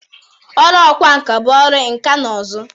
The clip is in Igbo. Ọrụ ọkwa nka bụ ọrụ nka na ụzụ.